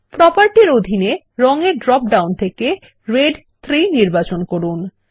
প্রোপার্টির অধীনে রঙ এর ড্রপ ডাউন থেকে রেড 3 নির্বাচন করুন